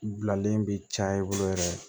Bilalen bɛ caya i bolo yɛrɛ